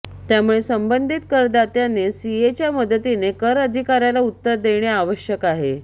त्यामुळे संबंधित करदात्याने सीएच्या मदतीने कर अधिकाऱ्याला उत्तर देणे आवश्यक आहे